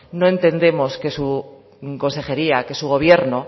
no entendemos que su consejería que su gobierno